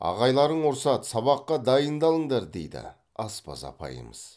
ағайларың ұрсады сабаққа дайындалыңдар дейді аспаз апайымыз